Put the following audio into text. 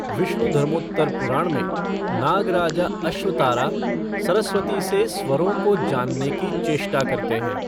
विष्णुधर्मोत्तर पुराण में, नाग राजा अश्वतारा सरस्वती से स्वरों को जानने की चेष्ठा करते हैं।